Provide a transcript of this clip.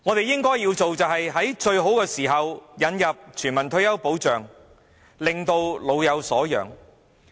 應做的是在最好的時候引入全民退休保障，令老有所養。